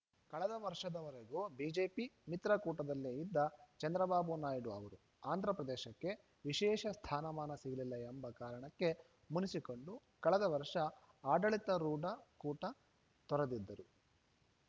ಕಳೆದ ವರ್ಷದವರೆಗೂ ಬಿಜೆಪಿ ಮಿತ್ರಕೂಟದಲ್ಲೇ ಇದ್ದ ಚಂದ್ರಬಾಬು ನಾಯ್ಡು ಅವರು ಆಂಧ್ರಪ್ರದೇಶಕ್ಕೆ ವಿಶೇಷ ಸ್ಥಾನಮಾನ ಸಿಗಲಿಲ್ಲ ಎಂಬ ಕಾರಣಕ್ಕೆ ಮುನಿಸಿಕೊಂಡು ಕಳೆದ ವರ್ಷ ಆಡಳಿತಾರೂಢ ಕೂಟ ತೊರೆದಿದ್ದರು